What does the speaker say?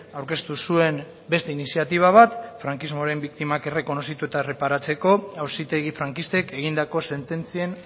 aurkeztu zuen beste iniziatiba bat frankismoaren biktiman errekonozitu eta erreparatzeko auzitegi frankistek egindako sententzien